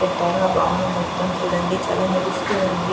పెట్టక భవనం మొత్తం చూడండి చాలా మెరుస్తూ ఉంది.